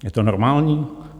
Je to normální?